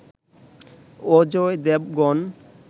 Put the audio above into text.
Ajay Devgan